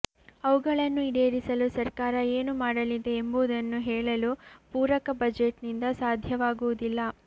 ಅವುಗಳನ್ನು ಈಡೇರಿಸಲು ಸರ್ಕಾರ ಏನು ಮಾಡಲಿದೆ ಎಂಬುದನ್ನು ಹೇಳಲು ಪೂರಕ ಬಜೆಟ್ನಿಂದ ಸಾಧ್ಯವಾಗುವುದಿಲ್ಲ